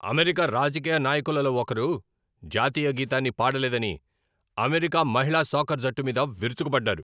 America రాజకీయ నాయకులలో ఒకరు, జాతీయ గీతాన్ని పాడలేదని, అమెరికా మహిళా సాకర్ జట్టు మీద విరుచుకుపడ్డారు.